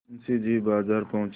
मुंशी जी बाजार पहुँचे